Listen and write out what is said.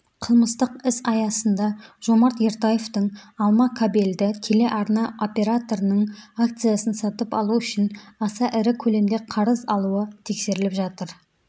қылмыстық іс аясында жомарт ертаевтың алма кабельді телеарна операторының акциясын сатып алу үшін аса ірі көлемде қарыз алуы тексеріліп жатыр